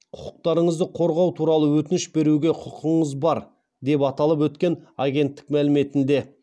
құқықтарыңызды қорғау туралы өтініш беруге құқығыңыз бар деп аталып өткен агенттік мәліметінде